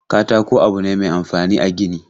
Katako abu ne mai amfani a gini.